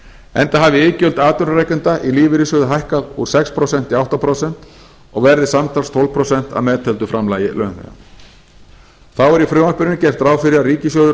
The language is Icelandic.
enda hafi iðgjöld atvinnurekenda í lífeyrissjóði hækkað úr sex prósent í átta prósent og verði samtals tólf prósent að meðtöldu framlagi launþega þá er í frumvarpinu gert ráð fyrir að ríkissjóður